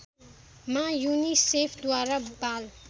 मा युनिसेफद्वारा बाल